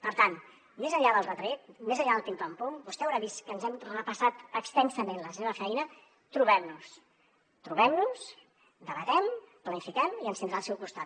per tant més enllà del retret més enllà del pim pam pum vostè deu haver vist que ens hem repassat extensament la seva feina trobem nos trobem nos debatem planifiquem i ens tindrà al seu costat